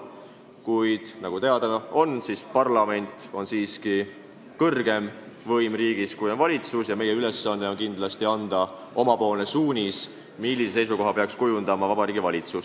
Kuid nagu teada, on parlamendil riigis siiski kõrgem võim kui valitsusel ja meie ülesanne on kindlasti anda oma suunis, millise seisukoha peaks kujundama Vabariigi Valitsus.